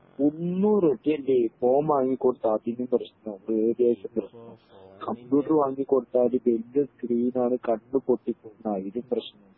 ഒന്നും ഫോൺ വാങ്ങി കൊടുത്താൽ അതിനും പ്രശ്നം കമ്പ്യൂട്ടർ വാങ്ങി കൊടുത്താൽ വല്യ സ്ക്രീൻ ആണ് കണ്ണ് പൊട്ടി പോവും അതിനും പ്രശ്നം